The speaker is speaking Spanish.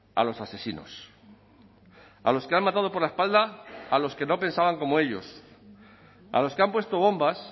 a los asesinos a los que han matado por la espalda a los que no pensaban como ellos a los que han puesto bombas